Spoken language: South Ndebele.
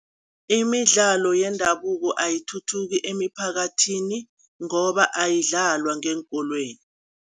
Imidlalo yendabuko ayithuthuki emiphakathini, ngoba ayidlalwa ngeenkolweni.